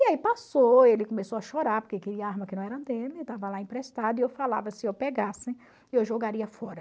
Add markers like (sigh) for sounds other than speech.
E aí passou, ele começou a chorar, porque (unintelligible) arma que não era dele, estava lá emprestado, e eu falava, se eu pegasse, eu jogaria fora.